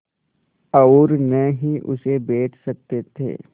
और न ही उसे बेच सकते थे